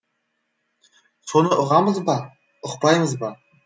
соны ұғамыз ба ұқпаймыз ба